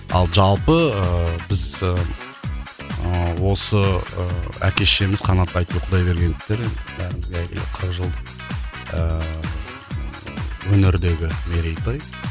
ал жалпы ыыы біз ыыы осы ыыы әке шешеміз қанат айткүл құдайбергеновтар бәрімізге әйгілі қырық жылдық ыыы өнердегі мерейтой